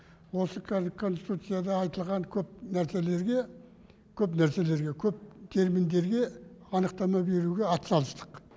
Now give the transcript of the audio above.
осы конституцияда айтылған көп нәрселерге көп нәрселерге көп терминдерге анықтама беруге атсалыстық